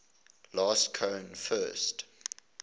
last cohen first